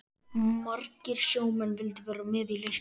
Margir sjómenn vildu vera með í leiknum.